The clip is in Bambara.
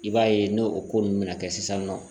I b'a ye n'o ko ninnu bɛna kɛ sisan nɔ